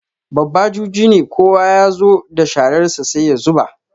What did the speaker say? Babba juji ne, kowa ya zo da shararsa sai ya zuba.